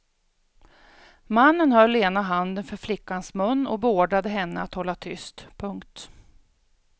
Mannen höll ena handen för flickans mun och beordrade henne att hålla tyst. punkt